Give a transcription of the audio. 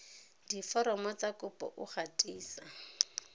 diforomo tsa kopo o gatisa